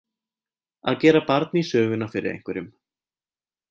Að gera barn í söguna fyrir einhverjum